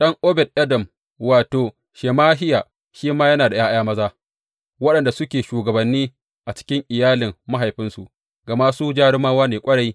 Ɗan Obed Edom, wato, Shemahiya shi ma yana da ’ya’ya maza, waɗanda suke shugabanni a cikin iyalin mahaifinsu, gama su jarumawa ne ƙwarai.